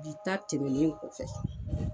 Bi ta tɛmɛlen kɔfɛ